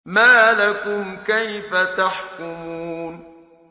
مَا لَكُمْ كَيْفَ تَحْكُمُونَ